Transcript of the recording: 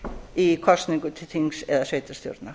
í kosningu til þings eða sveitarstjórna